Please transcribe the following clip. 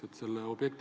Tänan küsimuse eest!